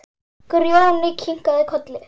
Grjóni kinkar kolli.